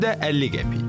Qiyməti də 50 qəpik.